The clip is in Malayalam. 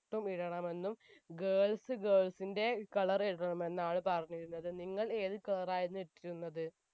ഉം ഇടണമെന്നും girls girls ന്റെ colour ഇടണമെന്നുമാണ് പറഞ്ഞിരുന്നത് നിങ്ങൾ ഏത് colour ആയിരുന്നു ഇട്ടിരുന്നത്